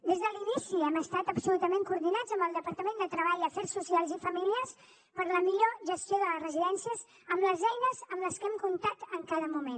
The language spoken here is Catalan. des de l’inici hem estat absolutament coordinats amb el departament de treball afers socials i famílies per a la millor gestió de les residències amb les eines amb les que hem comptat en cada moment